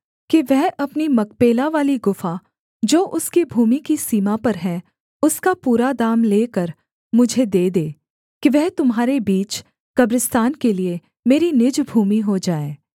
कि वह अपनी मकपेलावाली गुफा जो उसकी भूमि की सीमा पर है उसका पूरा दाम लेकर मुझे दे दे कि वह तुम्हारे बीच कब्रिस्तान के लिये मेरी निज भूमि हो जाए